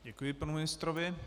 Děkuji panu ministrovi.